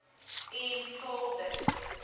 en vul dit